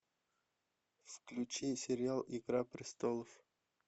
включи сериал игра престолов